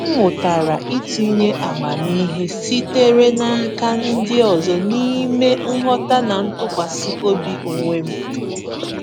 M mụtara itinye amamihe sitere n’aka ndị ọzọ n’ime nghọta na ntụkwasị obi onwe m.